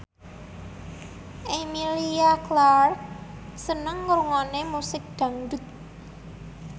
Emilia Clarke seneng ngrungokne musik dangdut